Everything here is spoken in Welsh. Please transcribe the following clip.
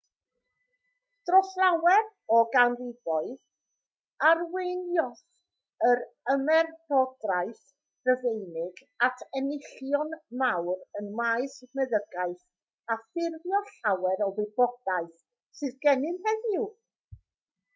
dros lawer o ganrifoedd arweiniodd yr ymerodraeth rufeinig at enillion mawr ym maes meddygaeth a ffurfio llawer o'r wybodaeth sydd gennym heddiw